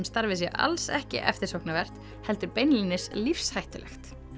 starfið sé alls ekki eftirsóknarvert heldur beinlínis lífshættulegt